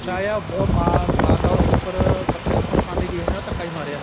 ਆਇਆ ਉਹ ਮਾਂ ਮਾਤਾ ਉਹਦੀ ਉੱਪਰ ਕੱਪੜੇ ਸੁੱਕਨੇ ਪਾਂਦੀ ਗਈ ਹੋਣੀ ਉਹ ਧੱਕਾ ਈ ਮਾਰਿਆ